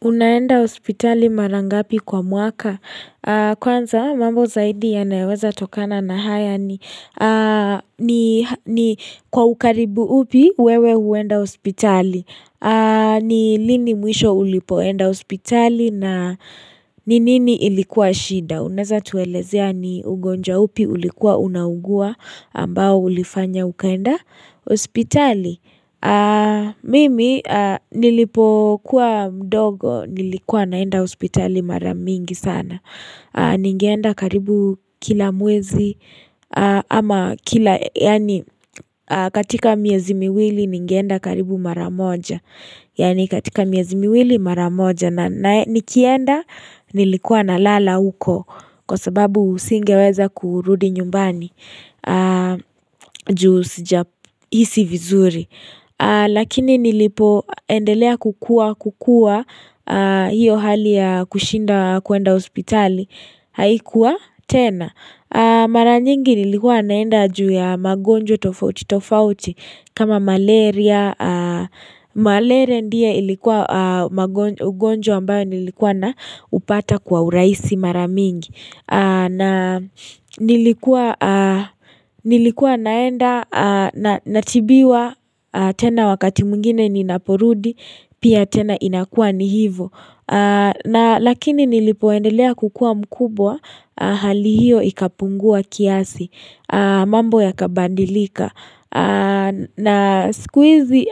Unaenda hospitali mara ngapi kwa mwaka. Kwanza mambo zaidi ya nayayo weza tokana na haya ni kwa ukaribu upi wewe huenda hospitali. Ni lini mwisho ulipoenda hospitali na ni nini ilikuwa shida. Unaweza tuelezea ni ugonjwa upi ulikuwa unaugua ambao ulifanya ukaenda hospitali. Mimi nilipo kuwa mdogo nilikuwa naenda hospitali mara mingi sana Ningeenda karibu kila mwezi ama kila yani katika miezi miwili ningeenda karibu mara moja Yani katika miezi miwili mara moja na nikienda nilikuwa nalala huko Kwasababu singeweza kurudi nyumbani juu sija hisi vizuri Lakini nilipo endelea kukua kukua hiyo hali ya kushinda kwenda hospitali haikuwa tena. Mara nyingi nilikuwa naenda juu ya magonjwa tofauti tofauti kama malaria. Malaria ndio ilikuwa ugonjwa ambao nilikuwa na upata kwa urahisi mara mingi. Na nilikuwa naenda natibiwa tena wakati mwingine ni ninaporudi Pia tena inakua ni hivo Lakini nilipoendelea kukua mkubwa Hali hiyo ikapungua kiasi mambo yakabadilika na sikuizi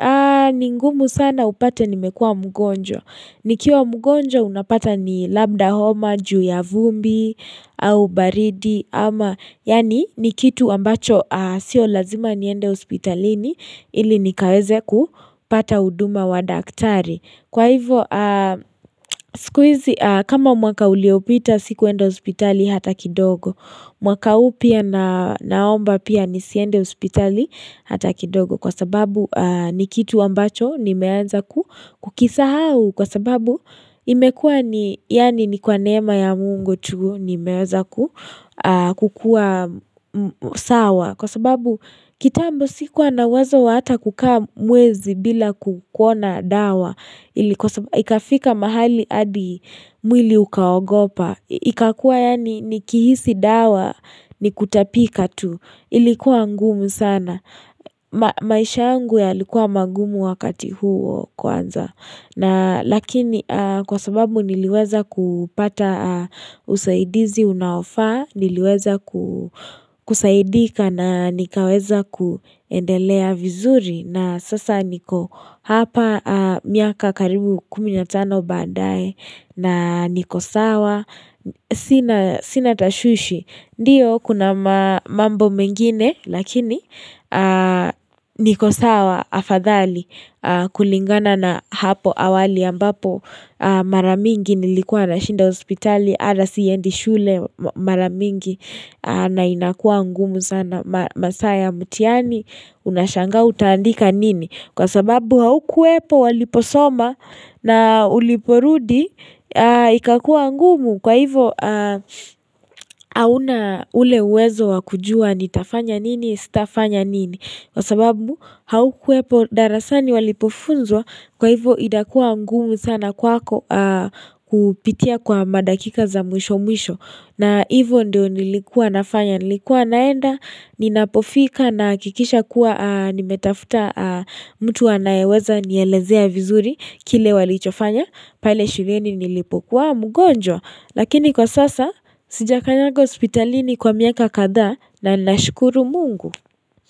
ni ngumu sana upate nimekua mgonjwa Nikiwa mgonjwa unapata ni labda homa, juu ya vumbi au baridi ama yani ni kitu ambacho sio lazima niende hospitalini ili nikaweze kupata huduma wa daktari Kwa hivyo siku hizi kama mwaka uliopita sikuendo hospitali hata kidogo mwaka huu pia naomba pia nisiende hospitali hata kidogo Kwa sababu ni kitu ambacho nimeanza kukisahau kwasababu imekua ni yani ni kwa neema ya Mungu tu nimeweza kukua sawa kwa sababu kitambo sikuwa na uwezo wa hata kukaa mwezi bila kuwa na dawa ikafika mahali hadi mwili ukaogopa ikakua yani nikihisi dawa ni kutapika tu ilikuwa ngumu sana maisha yangu ya likuwa magumu wakati huo kwanza na lakini kwa sababu niliweza kupata usaidizi unaofaa, niliweza kusaidika na nikaweza kuendelea vizuri na sasa niko hapa miaka karibu kumi na tano baadae na niko sawa, sinat tashwishi. Ndiyo kuna mambo mengine lakini niko sawa afadhali kulingana na hapo awali ambapo mara mingi nilikuwa nashinda hospitali hata siendi shule mara mingi na inakua ngumu sana masaa ya mtihani unashanga utaandika nini. Kwa sababu haukuwepo waliposoma na uliporudi ikakua ngumu kwa hivo hauna ule uwezo wakujua nitafanya nini sitafanya nini. Kwa sababu haukuwepo darasani walipofunzwa kwa hivo inakua ngumu sana kwako kupitia kwa madakika za mwisho mwisho. Na hivo ndio nilikuwa nafanya nilikuwa naenda ninapofika nahakikisha kuwa nimetafuta mtu anayeweza nielezea vizuri kile walichofanya pale shulieni nilipokuwa mgonjwa lakini kwa sasa sijakanyanga hospitalini kwa miaka kadhaa na nashukuru Mungu.